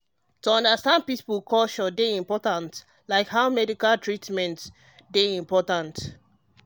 um to understand people culture dey important like how medical treatment how medical treatment dey um accurate. um